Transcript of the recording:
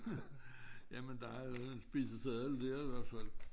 Jamen der er en spiseseddel dér i hvert fald